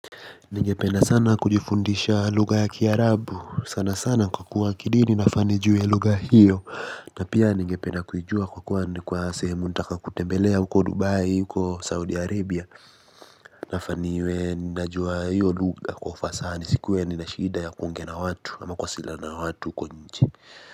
Ningependa sana kujifundisha lugha ya kiarabu sana sana kwa kuwa kidini nafaa nijue lugha hiyo na pia nigependa kuijua kwa kuwa ni kwa sehemu nataka kutembelea huko dubai huko saudi arabia nafaa niwe ninajua hiyo lugha kwa ufasaha nisikuwe nina shida ya kuongea na watu ama kuwasiliana na watu huko kwenye.